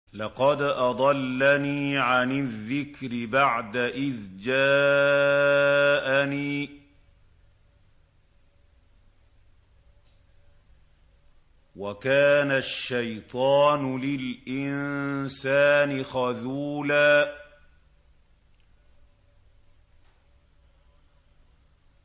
لَّقَدْ أَضَلَّنِي عَنِ الذِّكْرِ بَعْدَ إِذْ جَاءَنِي ۗ وَكَانَ الشَّيْطَانُ لِلْإِنسَانِ خَذُولًا